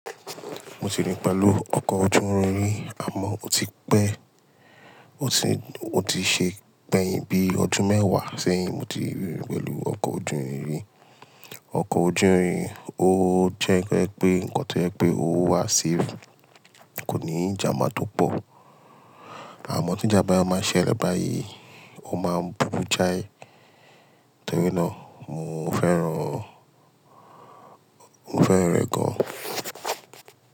Mo ti rí i pẹ̀lú ọkọ̀ ojú irin ri, àmọ́ ó ti pé, ó ti, ó ti ṣe pẹ́ yín bíi ọdún mẹ́wàá sẹ́yìn mo ti rín pẹ̀lú ọkọ̀ ojú irin ri. Ọkọ̀ ojú irin ó jẹ́ pé pé nǹkan tí ó jẹ́ pé ó wà safe kò ní ìjanba tó pọ̀. Àmọ́ tí ìjànbá máa ṣẹ́le bayii, ó máa búru jáì. Nítorí náà mo fẹ́ràn ọ, mo fẹ́ràn rẹ̀ gan-an.